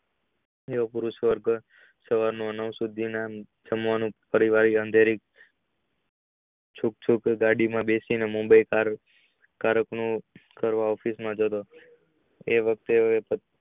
અંધેરી ગાડી માં બેસી ને ચૂક ચૂક ગાડીમાં બેસી ને Mumbai office માં જતા